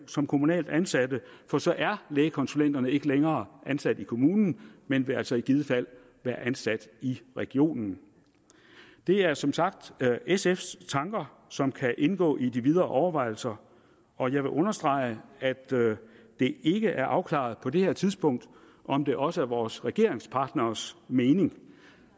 som kommunalt ansatte for så er lægekonsulenterne ikke længere ansat i kommunen men vil altså i givet fald være ansat i regionen det er som sagt sfs tanker som kan indgå i de videre overvejelser og jeg vil understrege at det ikke er afklaret på det her tidspunkt om det også er vores regeringspartneres mening